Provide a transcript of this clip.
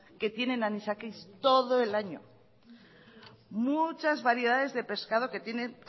que tienen anisakis todo el año muchas variedades de pescado que tiene